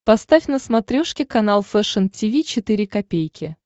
поставь на смотрешке канал фэшн ти ви четыре ка